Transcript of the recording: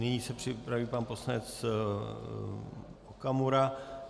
Nyní se připraví pan poslanec Okamura.